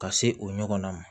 Ka se o ɲɔgɔnna ma